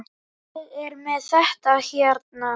Ég er með þetta hérna.